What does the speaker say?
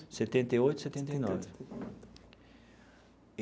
Setenta e oito e setenta nove.